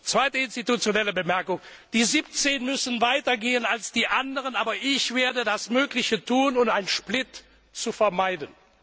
Zweite institutionelle Bemerkung Die 17 müssen weiter gehen als die anderen, aber ich werde das Mögliche tun, um eine Spaltung zu verhindern.